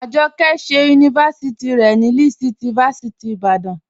Ajọkẹ ṣẹ yunifásíti rẹ ni Lead City fásíti ni Ìbàdàn.